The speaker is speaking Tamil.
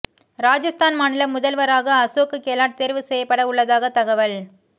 ராஜஸ்தான் மாநில முதல்வராக அசோக் கெலாட் தேர்வு செய்யப்பட உள்ளதாக தகவல்